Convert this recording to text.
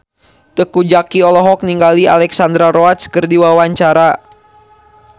Teuku Zacky olohok ningali Alexandra Roach keur diwawancara